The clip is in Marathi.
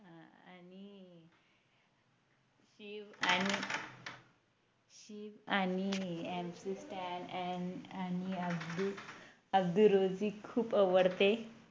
शिव आणि शिव आणि MC stan आणि अब्दुल रोझीक खूप आवडते